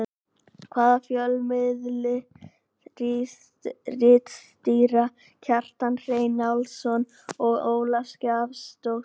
Hvaða fjölmiðli ritstýra Kjartan Hreinn Njálsson og Ólöf Skaftadóttir?